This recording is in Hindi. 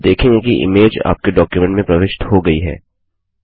आप देखेंगे कि इमेज आपके डॉक्युमेंट में प्रविष्ट हो गई है